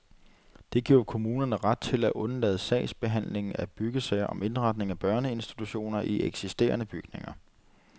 Det giver kommunerne ret til at undlade sagsbehandling af byggesager om indretning af børneinstitutioner i eksisterende bygninger.